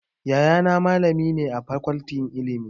Yayana malami ne a Fakoltin Ilimi.